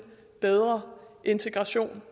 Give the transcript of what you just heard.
bedre integration